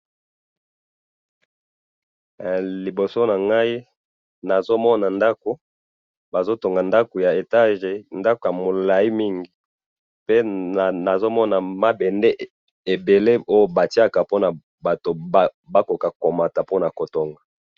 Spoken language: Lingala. liboso na ngayi nazo mona ndaku bazo tonga ndaku ya etage ndaku ya mulayi mingi pe nazo mona mabende ebele oyo ba tiaka pona batu ba koka ko mata po nako tonga